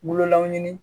Bololaw ɲini